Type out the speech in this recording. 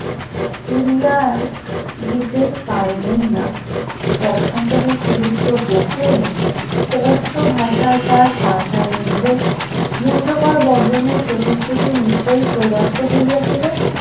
উড়িয়া দিতে পারিলেন না পক্ষান্তরে শ্রীযুক্ত গোখলে স্পষ্ট ভাষায় তার পাঠাইলেন যে মুঞ্জ কর বর্জনের প্রতিশ্রুতি নিশ্চয়ই প্রদত্ত হইয়াছিল